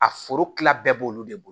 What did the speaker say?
A forokila bɛɛ b'olu de bolo